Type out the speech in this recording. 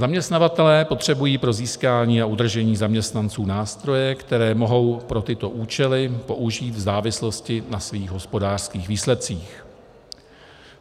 Zaměstnavatelé potřebují pro získání a udržení zaměstnanců nástroje, které mohou pro tyto účely použít v závislosti na svých hospodářských výsledcích.